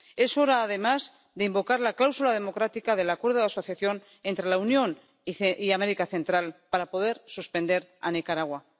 Es hora, además, de invocar la cláusula democrática del Acuerdo de Asociación entre la Unión y América Central para poder suspender a Nicaragua.